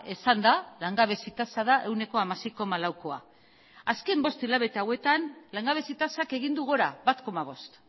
esan da langabezi tasa da ehuneko hamasei koma laukoa azken bost hilabete hauetan langabezi tasak egin du gora bat koma bost